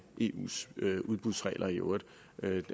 eus udbudsregler i øvrigt